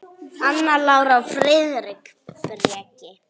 Anna Lára og Friðrik Breki.